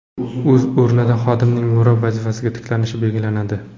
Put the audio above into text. O‘z o‘rnida xodimning mirob vazifasiga tiklanishi belgilanadi.